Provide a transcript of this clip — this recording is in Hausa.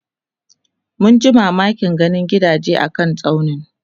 munji mamakin ganin gidaje a kan tsaunin